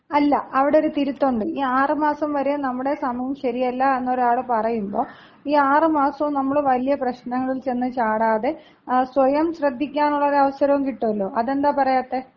അല്ല. അവിടൊര് തിരുത്തൊണ്ട്. ഈ ആറുമാസം വരെ നമ്മുടെ സമയം ശരിയല്ല എന്ന് ഒരാള് പറയുമ്പൊ, ഈ ആറ് മാസവും നമ്മള് വലിയ പ്രശ്നങ്ങളില്‍ ചെന്ന് ചാടാതെ സ്വയം ശ്രദ്ധിക്കാനുള്ള ഒരു അവസരം കിട്ടുവല്ലോ അതെന്താ പറയാത്തെ?